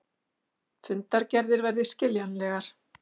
Fundargerðir verði skiljanlegar